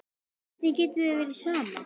Hvernig getur þér verið sama?